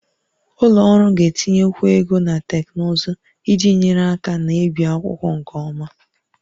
Ụlọ ọrụ ga-etinyekwu ego na teknụzụ iji nyere aka na-ebi akwụkwọ nke ọma